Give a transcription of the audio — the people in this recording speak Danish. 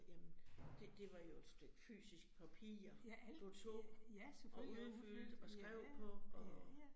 Jamen det det var jo et stykke fysisk papir, du tog og udfyldte og skrev på og